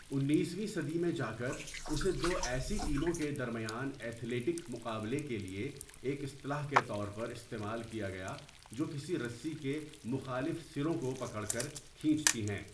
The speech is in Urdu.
انیس ویں صدی میں جاکر اسے دو ایسی ٹیموں کے درمیان ایتھلیٹک مقابلے کے لیے ایک اصطلاح کے طور پر استعمال کیا گیا جو کسی رسی کے مخالف سروں کو پکڑ کر کھینچتی ہیں۔